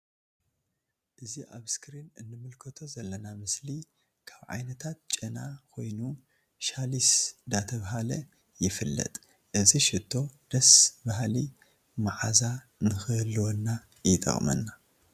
እዚ ኣብ እስክሪን እንምልከቶ ዘለና ምስሊ ካብ ዓይነታት ጨና ኮይኑ ሻሊስ ዳ ተብሃለ ይፍለጥ። እዚ ሽቶ ደስ በሃሊ መዓዛ ንክህልወና ይጠቅመና ።